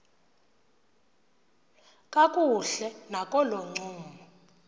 kakuhle nakolo ncumo